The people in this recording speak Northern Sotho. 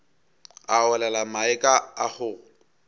a olela mae a kgogo